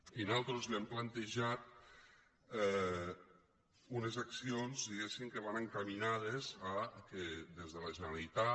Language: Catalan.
i nosaltres hem plantejat unes accions diguéssim que van encaminades que des de la generalitat